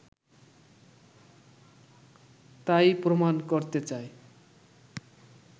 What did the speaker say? তাই-ই প্রমাণ করতে চায়